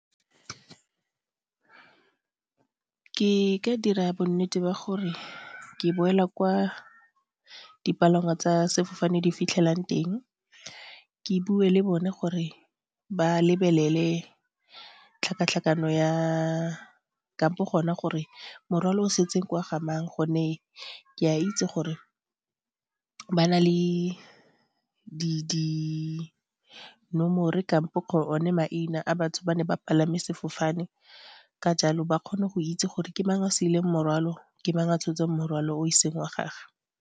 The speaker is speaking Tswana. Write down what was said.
Ke ka dira bonnete ba gore ke boela kwa dipalangwa tsa sefofane di fitlhelang teng, ke bue le bone gore ba lebelele tlhakatlhakano ya kampo gona gore morwalo o setseng ke wa ga mang gonne ke a itse gore ba na le di nomore kampo one maina a batho ba ne ba palame sefofane ka jalo ba kgone go itse gore ke mang a siileng morwalo, ke mang a tshotseng morwalo o e seng wa gage.